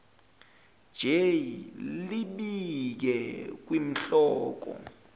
j libike kwinhloko